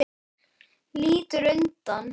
Lítur undan.